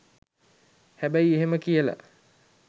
හැබැයි එහෙම කියල